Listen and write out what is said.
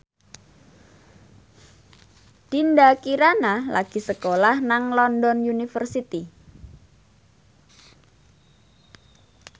Dinda Kirana lagi sekolah nang London University